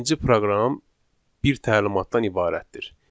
Birinci proqram bir təlimatdan ibarətdir.